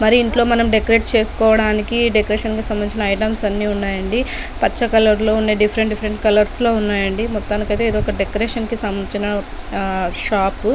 మరి మనం ఇంట్లో డెకరేట్ చేసుకోడానికి డెకరేషన్ కి సంభందించిన ఐ టెమ్స్ అన్ని ఉన్నాయి అండి పచ్చ కలర్ లో ఉన్నాయి డీఫెరెంట్ డీఫెరెంట్ కొలర్స్ లో ఉన్నాయండి మొత్తానికి అయితే ఇది ఒక డెకరేషన్ కి సంభందించిన షాప్.